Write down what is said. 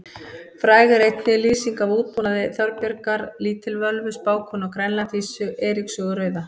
Fræg er einnig lýsing af útbúnaði Þorbjargar lítilvölvu spákonu á Grænlandi í Eiríks sögu rauða.